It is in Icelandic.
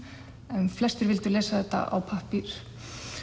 en flestir vildu lesa þetta á pappír